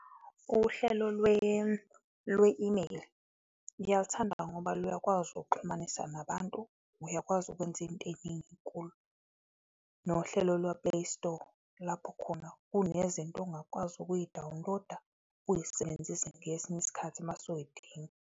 Uhlelo lwe-email ngiyalithanda ngoba luyakwazi ukuxhumanisa nabantu, uyakwazi ukwenza izinto eziningi kulo. Nohlelo lwe-Play Store, lapho khona kunezinto ongakwazi ukuyi-download-a, uyisebenzise ngesinye isikhathi mase uyidinga.